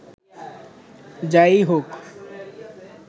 যা-ই হোক